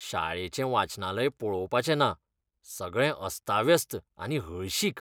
शाळेचें वाचनालय पळोवपाचें ना, सगळें अस्ताव्यस्त आनी हळशीक!